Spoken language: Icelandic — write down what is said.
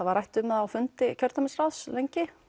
var rætt um það á fundi kjördæmisráðs lengi